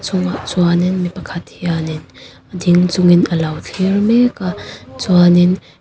chungah chuan in mi pakhat hian in ding chungin a lo thlir mek a chuan in--